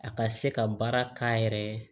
A ka se ka baara k'a yɛrɛ ye